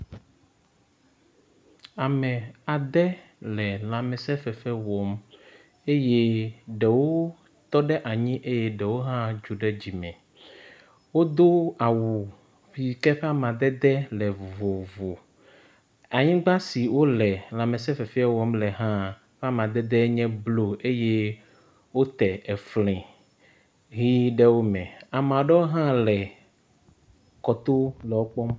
Ame ade le lãmesẽ fefe wɔm eye ɖewo tɔ ɖe anyi eye ɖewo hã dzo ɖe dzime. Wodo awu yi ke ƒe amadede le vovovo. Anyigba si wole lãmesẽ fefea wɔm le hã ƒe amadede nye blɔ eye wote efli ʋi ɖe wo me. Ame aɖewo hã le kɔto le wokpɔm